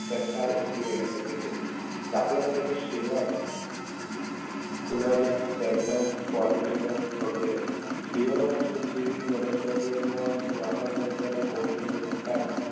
ટટ્ટાર ઊભી રહે છે તેઓ દાખલા તરીકે વગેરે liver વર્ષ જેવી વનસ્પતિઓમાં વાહક તંત્રના કૌશલ્ય વિકાસ